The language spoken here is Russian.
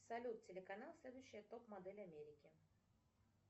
салют телеканал следующая топ модель америки